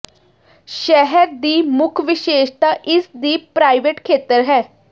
ਸ਼ਹਿਰ ਦੀ ਮੁੱਖ ਵਿਸ਼ੇਸ਼ਤਾ ਇਸ ਦੀ ਪ੍ਰਾਈਵੇਟ ਖੇਤਰ ਹੈ